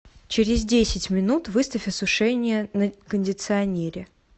через десять минут выставь осушение на кондиционере